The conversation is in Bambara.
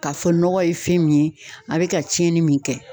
K'a fɔ nɔgɔ ye fɛn min ye, a bɛ ka tiɲɛni min kɛ.